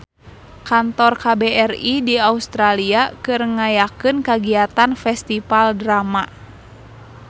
Kantor KBRI di Australia keur ngayakeun kagiatan Festival Drama